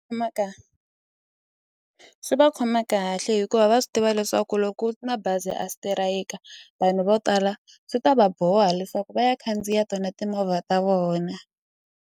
swi va khoma kahle hikuva va swi tiva leswaku loko ma bazi a sitirayika vanhu vo tala swi ta va boha leswaku va ya khandziya tona timovha ta vona.